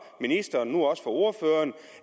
ministeren og nu også fra ordføreren